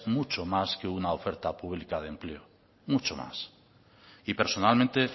mucho más que una oferta pública de empleo mucho más y personalmente